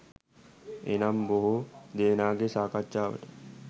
එනම්, බොහෝ දෙනාගේ සාකච්ඡාවට